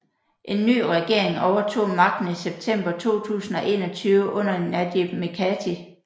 En ny regering overtog magten i september 2021 under Najib Mikati